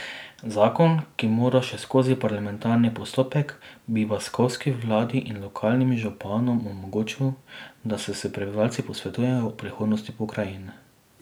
Zakon, ki mora še skozi parlamentarni postopek, bi baskovski vladi in lokalnim županom omogočil, da se s prebivalci posvetujejo o prihodnosti pokrajine.